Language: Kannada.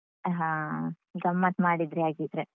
ಹಾ ಗಮ್ಮತ್ ಮಾಡಿದ್ರಿ ಹಾಗಿದ್ರೆ.